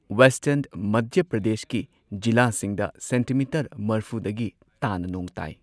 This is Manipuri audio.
ꯋꯦꯁꯇꯔꯟ ꯃꯙ꯭ꯌ ꯄ꯭ꯔꯗꯦꯁꯀꯤ ꯖꯤꯂꯥꯁꯤꯡꯗ ꯁꯦꯟꯇꯤꯃꯤꯇꯔ ꯃꯔꯐꯨꯗꯒꯤ ꯇꯥꯅ ꯅꯣꯡ ꯇꯥꯏ꯫